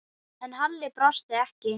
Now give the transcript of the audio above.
En Halli brosti ekki.